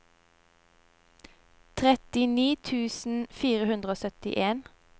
trettini tusen fire hundre og syttien